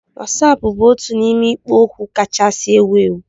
Wasapu bụ otu n'ime ikpo okwu kachasị ewu ewu